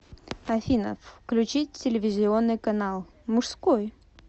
афина включить телевизионный канал мужской